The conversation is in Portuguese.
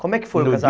Como é que foi o casa